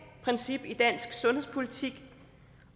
princip i dansk sundhedspolitik